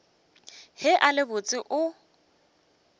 ge a le botse o